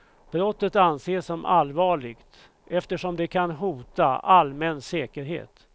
Brottet anses som allvarligt, eftersom det kan hota allmän säkerhet.